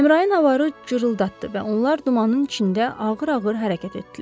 Əmrain avar-cırıldatdı və onlar dumanın içində ağır-ağır hərəkət etdilər.